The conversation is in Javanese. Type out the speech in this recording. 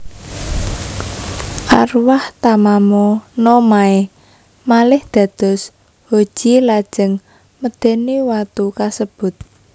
Arwah Tamamo no Mae malih dados Hoji lajeng medeni watu kasebut